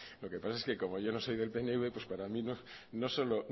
lo que pasa es que como yo no soydel pnv pues para mí no solo